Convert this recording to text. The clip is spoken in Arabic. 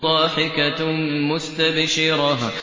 ضَاحِكَةٌ مُّسْتَبْشِرَةٌ